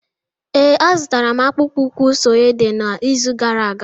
Ee, azụrụ m akpụkpọ ụkwụ suede n'izu gara aga